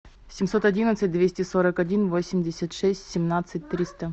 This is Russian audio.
семьсот одинадцать двести сорок один восемьдесят шесть семнадцать триста